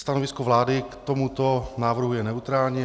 Stanovisko vlády k tomuto návrhu je neutrální.